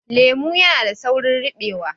Lemo yana saurin ribewa